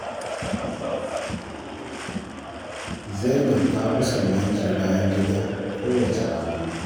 Zainab ta fi so a wanke bayan gida kowace rana.